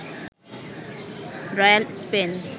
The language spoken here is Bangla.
royal Spain